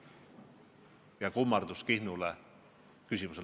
Ja kõige lõpuks kummardus Kihnule ka!